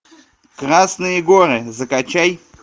красные горы закачай